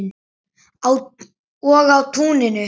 Og á túninu.